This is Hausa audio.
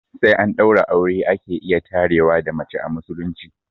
Sai an ɗaura aure ake iya tarewa da mace a musulunci